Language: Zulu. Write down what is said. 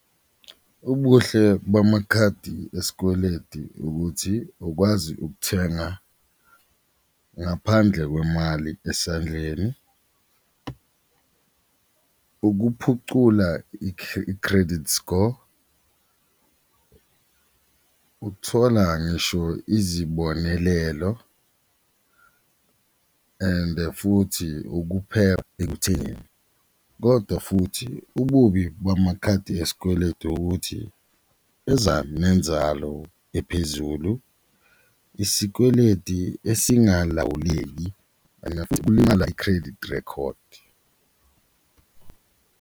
Ubuhle bamakhadi esikweledi ukuthi ukwazi ukuthenga ngaphandle kwemali esandleni, ukuphucula i-credit score, ukuthola ngisho izibonelelo and futhi , kodwa futhi ububi bamakhadi esikweletu ukuthi eza nenzalo ephezulu, isikweledi esingalawuleki and kulimala i-credit record.